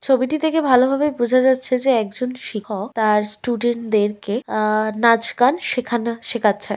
ছবিটি থেকে ভালো ভাবে বোঝা যাচ্ছে যে একজন শিখক তাঁর স্টুডেন্ট দেরকে আহ নাচ গান সেখানা শেখাচ্ছে।